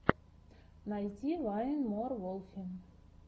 найти вайн мор волфи